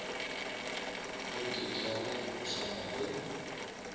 a teteane go swana le